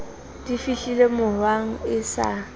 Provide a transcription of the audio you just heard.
di fihlile mohwang e sa